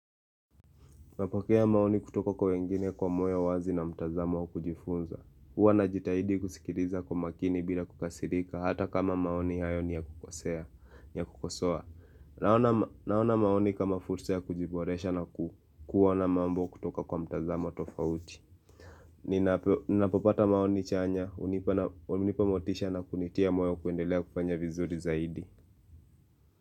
Napokea maoni kutoka kwa wengine kwa moyo wazi na mtazamo wa kujifunza. Huwa najitahidi kuskiriza kwa makini bila kukasirika, hata kama maoni hayo ni ya kukosea, ni ya kukosoa. Naona maoni kama fursa ya kujiboresha na kuwa na mambo kutoka kwa mtazamo tofauti. Ninapopata maoni chanya, unipamotisha na kunitia moyo kuendelea kufanya vizuri zaidi.